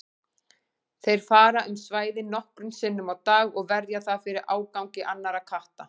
Þeir fara um svæðið nokkrum sinnum á dag og verja það fyrir ágangi annarra katta.